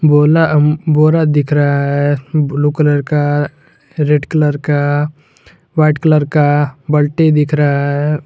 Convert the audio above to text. बोला-बोरा दिख रहा है ब्लू कलर का रेड कलर का वाइट कलर का बाल्टी दिख रहा है।